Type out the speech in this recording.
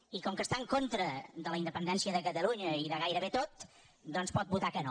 i com que està en contra de la independència de catalunya i de gairebé tot doncs pot votar que no